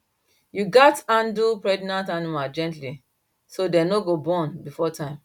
you gatz handle pregnant animal gently so dem no go born before time